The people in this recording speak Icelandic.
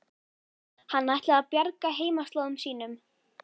Hann ætlaði að bjarga heimaslóðum sínum.